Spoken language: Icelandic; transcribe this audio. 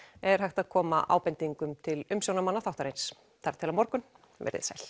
er hægt að koma ábendingum til umsjónarmanna þáttarins þar til á morgun veriði sæl